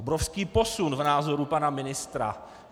Obrovský posun v názoru pana ministra.